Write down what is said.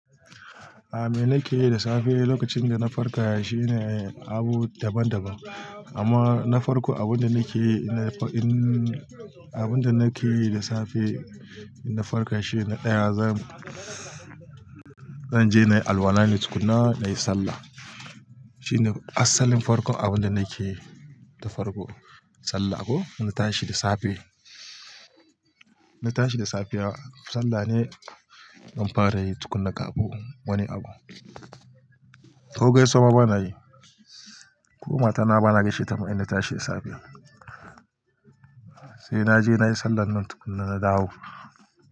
A me nake yi da safe lokacin da na farka shine abu daban-daban. Amma na farko abin da nake, in nai in abin da nake yi da safe na farka shine ɗaya zan, zan je na yi alwala na yi tukuna na yi sallah. Shine asalin farkon abin da nake ta farko sallah. Ko? In na tashi da safe, na tashi da safiya sallah ne zan fara yi tukuna kaɓu wani abu. Ogai sama bana yi, ƙu mata na bana gaishe ta mu in na tashi da safe. Sai naje nayi sallah nan tukuna na dawo.